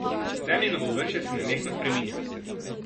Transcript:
Zemljino površje se nenehno spreminja.